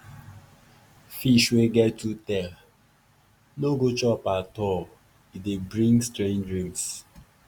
fish wey get two tail no go chop at all — e dey bring strange dreams.